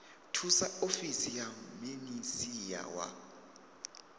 thusa ofisi ya minisia wa